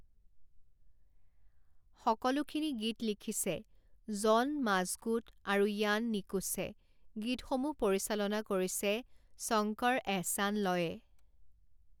সকলোখিনি গীত লিখিছে জন মাজকুট আৰু ইয়ান নিকুছে গীতসমূহ পৰিচালনা কৰিছে শঙ্কৰ এহছান লয়ে।